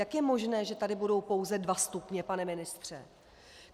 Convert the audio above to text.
Jak je možné, že tady budou pouze dva stupně, pane ministře?